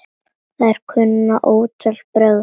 Þær kunna ótal brögð.